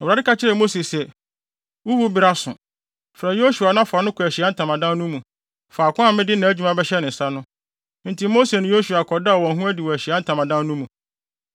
Awurade ka kyerɛɛ Mose se, “Wo wu bere aso. Frɛ Yosua na fa no kɔ Ahyiae Ntamadan no mu, faako a mede nʼadwuma bɛhyɛ ne nsa no.” Enti Mose ne Yosua kɔdaa wɔn ho adi wɔ Ahyiae Ntamadan no mu.